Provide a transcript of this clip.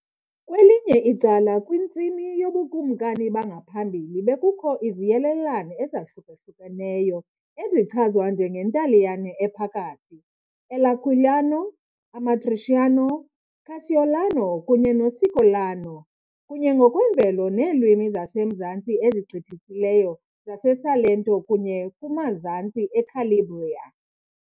Kwelinye icala, kwintsimi yoBukumkani bangaphambili bekukho iziyelelane ezahlukahlukeneyo ezichazwa njengeNtaliyane Ephakathi, L' Aquilano, Amatriciano, Carseolano kunye noCicolano , kunye ngokwemvelo neelwimi zasemzantsi ezigqithisileyo zaseSalento kunye kumazantsi eCalabria .